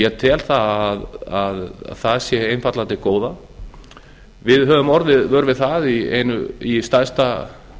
ég tel að það sé einfaldlega til góða við höfum orðið vör við það í stærsta